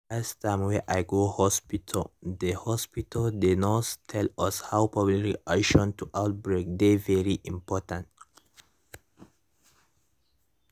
de last time wey i go hospitalthe hospitalthe nurse tell us how public reaction to outbreak dey important